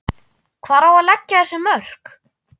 Hvar á að leggja þessi mörk?